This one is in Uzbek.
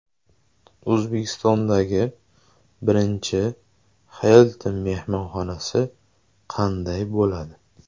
O‘zbekistondagi birinchi Hilton mehmonxonasi qanday bo‘ladi?.